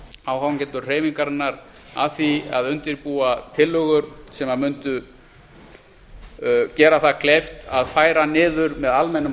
áhangendur hreyfingarinnar að því að undirbúa tillögur sem mundu gera mönnum það kleift að færa niður með almennum